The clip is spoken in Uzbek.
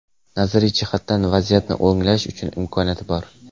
Nazariy jihatdan vaziyatni o‘nglash uchun imkoniyat bor.